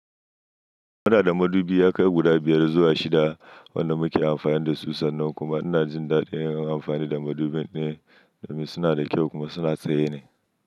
Muna da madubi yakai guda biyar zuwa shida wanda muke amfani da su sannan kuma ina jin daɗin yin amfani da madubin da mu suna da kyau kuma suna tsaye ne.